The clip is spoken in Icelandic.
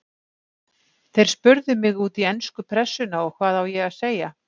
Þeir spurðu mig út í ensku pressuna og hvað á ég að segja?